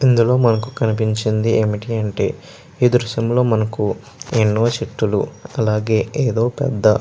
ఇందులో మనకు కనిపించింది ఏమిటి అంటే ఈ దృశ్యంలో మనకు ఎన్నో చెట్టులు అలాగే ఏదో పెద్ద.